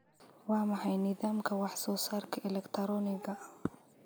Waa maxay nidaamka wax soo saarka elegtarooniga ah?